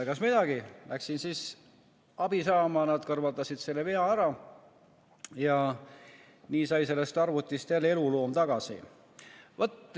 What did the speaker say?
Egas midagi, läksin abi saama, nad kõrvaldasid selle vea ära ja nii sai sellest arvutist jälle eluloom.